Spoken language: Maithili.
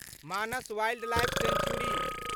Manas wildlife century